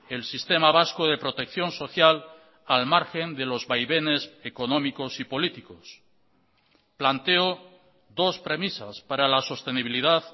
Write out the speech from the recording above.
el sistema vasco de protección social al margen de los vaivenes económicos y políticos planteo dos premisas para la sostenibilidad